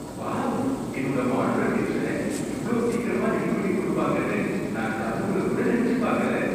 Wow! என்னோட modular கிட்சன இவ்ளோ சீக்கிரமா ரெடிபண்ணி கொடுப்பாங்கன்னு நான் கனவுலகூட நெனைச்சு பாக்கல.